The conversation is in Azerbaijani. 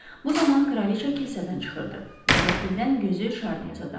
Bu zaman kraliça kilsədən çıxırdı və qəfildən gözü Şarniyə sataşdı.